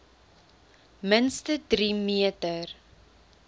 minste drie meter